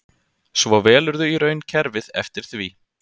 Svo velurðu í raun kerfið eftir því.